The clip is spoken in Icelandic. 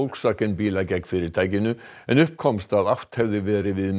Volkswagen bíla gegn fyrirtækinu en upp komst að átt hefði verið við